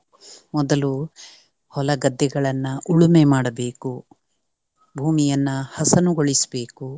ಮೊದಲು ಹೊಲ ಗದ್ದೆಗಳನ್ನ ಉಳುಮೆ ಮಾಡಬೇಕು. ಭೂಮಿಯನ್ನ ಹಸನುಗೊಳಿಸ್ಬೇಕು